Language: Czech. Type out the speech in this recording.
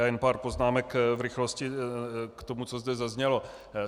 Já jen pár poznámek v rychlosti k tomu, co zde zaznělo.